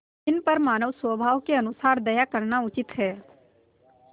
जिन पर मानवस्वभाव के अनुसार दया करना उचित है